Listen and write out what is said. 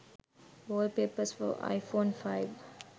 wallpapers for iphone 5